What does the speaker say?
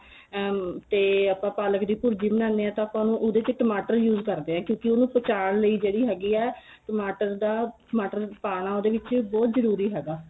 ਉਮ ਤੇ ਪਾਲਕ ਦੀ ਭੁਰਜੀ ਬਣਾਨੇ ਏ ਤਾਂ ਆਪਾਂ ਨੂੰ ਉਹਦੇ ਚ ਟਮਾਟਰ use ਕਰਦੇ ਏ ਕਿਉਂਕਿ ਉਹਨੂੰ ਪਚਾਣ ਲਈ ਜਿਹੜੀ ਹੈਗੀ ਏ ਟਮਾਟਰ ਦਾ ਟਮਾਟਰ ਪਾਣਾ ਉਦੇ ਵਿੱਚ ਬਹੁਤ ਜਰੂਰੀ ਹੈਗਾ